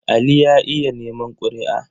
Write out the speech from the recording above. Ali ya iya neman ƙuri''a.